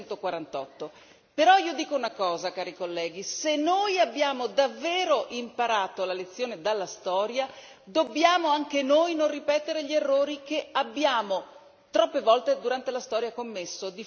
1948. Però io dico una cosa, cari colleghi, se noi abbiamo davvero imparato la lezione dalla storia, dobbiamo anche noi non ripetere gli errori che abbiamo troppe volte durante la storia commesso.